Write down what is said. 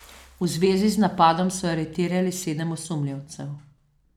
V zvezi z napadom so aretirali sedem osumljencev.